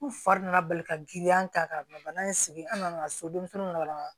U fa nana bali ka giriya ta ka bila bana in sigi an nana so denmisɛnninw labɛn